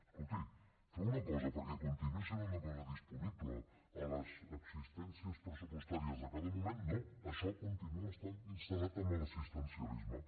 escolti fem una cosa perquè continuï sent una cosa disponible a les existències pressupostàries de cada moment no això continua estant instal·lat en l’assistencialisme